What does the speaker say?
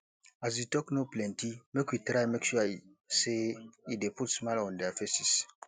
as di talk no plenty make we try make sure say e de put smile on their faces